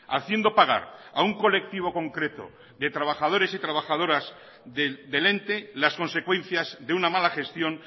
haciendo pagar a un colectivo concreto de trabajadores y trabajadoras del ente las consecuencias de una mala gestión